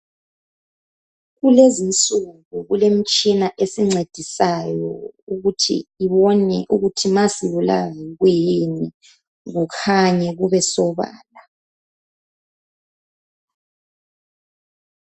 Kulezinsuku kulemitshina esincedisayo ukuthi ibone ukuthi masibulawa yikuyini kukhanye kube sobala.